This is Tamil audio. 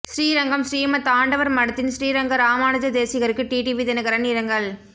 ஸ்ரீரங்கம் ஸ்ரீமத் ஆண்டவர் மடத்தின் ஸ்ரீரங்க ராமானுஜ தேசிகருக்கு டிடிவி தினகரன் இரங்கல்